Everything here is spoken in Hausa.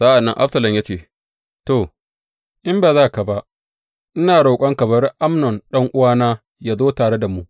Sa’an nan Absalom ya ce, to, In ba za ka ba, ina roƙonka bari Amnon ɗan’uwana yă zo tare da mu.